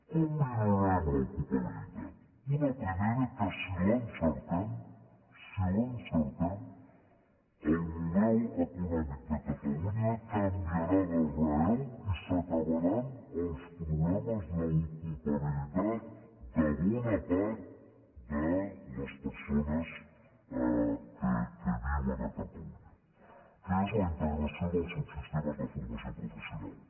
com millorarem l’ocupabilitat una primera que si l’encertem si l’encertem el model econòmic de catalunya canviarà d’arrel i s’acabaran els problemes d’ocupabilitat de bona part de les persones que viuen a catalunya que és la integració dels subsistemes de formació professional